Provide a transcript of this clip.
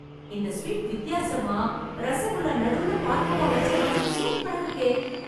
இந்த ஸ்வீட் வித்யாசமா, ரஸகுல்லா நடுவுல பால்கோவா வெச்ச மாதிரி சூப்பரா இருக்கே...